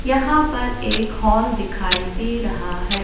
यहां पर एक हॉल दिखाई दे रहा है।